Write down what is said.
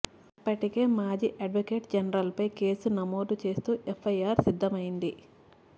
అప్పటికి మాజీ అడ్వొకేట్ జనరల్పై కేసు నమోదు చేస్తూ ఎఫ్ఐఆర్ సిద్ధమైంది